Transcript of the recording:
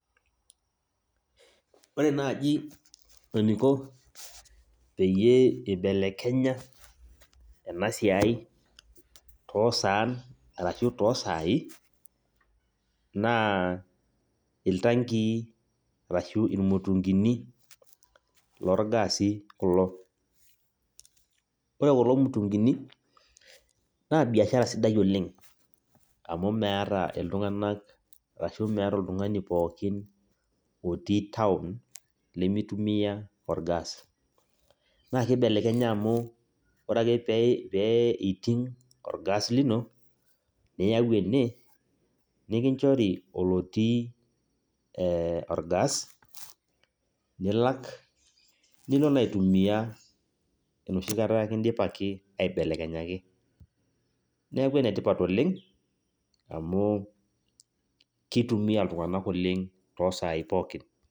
Ore naji eniko peyie ibelekenya enasiai tosaan arashu tosai, naa iltankii arashu irmutunkini lorgasi kulo. Ore kulo mutunkini, naa biashara sidai oleng, amu meeta iltung'anak ashu meeta oltung'ani pookin otii taon, limitumia orgas. Na kibelekenya amu, ore ake pee iting' orgas lino, niyau ene, nikinchori olotii orgas, nilak, nilo naa aitumia enoshi kata kidipaki aibelekenyaki. Neeku enetipat oleng, amu kitumia iltung'anak oleng, tosai pookin.